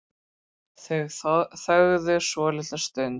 Þau þögðu svolitla stund.